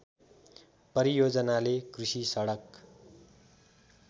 परियोजनाले कृषि सडक